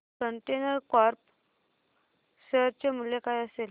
container corp share चे मूल्य काय असेल